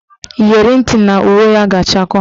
Iyeri ntị na uwe ya ga-achakọ